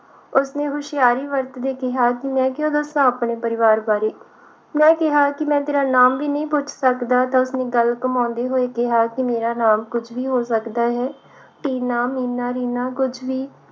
ਉਸਨੇ ਹੁਸ਼ਿਆਰੀ ਵਰਤਦੇ ਕਿਹਾ ਕਿ ਮੈਂ ਕਿਉਂ ਦੱਸਾਂ ਆਪਣੇ ਪਰਿਵਾਰ ਬਾਰੇ ਮੈਂ ਕਿਹਾ ਕਿ ਮੈਂ ਤੇਰਾ ਨਾਮ ਵੀ ਨਹੀਂ ਪੁੱਛ ਸਕਦਾ ਤਾਂ ਉਸਨੇ ਗੱਲ ਘੁੰਮਾਉਦੇ ਹੋਏ ਕਿਹਾ ਕਿ ਮੇਰਾ ਨਾਮ ਕੁਛ ਵੀ ਹੋ ਸਕਦਾ ਹੈ ਟੀਨਾ, ਮੀਨਾ, ਰੀਨਾ ਕੁਛ ਵੀ